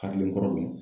Hakili kɔrɔ dun